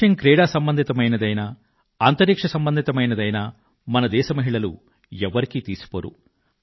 విషయం క్రీడా సంబంధితమైనదైనా అంతరిక్ష సంబంధితమైనదైనా మన దేశ మహిళలు ఎవరికీ తీసిపోరు